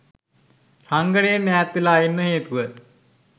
රංගනයෙන් ඈත් වෙලා ඉන්න හේතුව